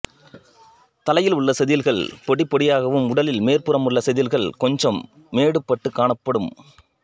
தலையில் உள்ள செதில்கள் பொடிப்பொடியாகவும் உடலின் மேற்புறமுள்ள செதில்கள் கொஞ்சம் மேடுபட்டுக் காணப்படும்